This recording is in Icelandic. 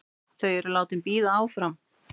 Þau eru látin bíða áfram.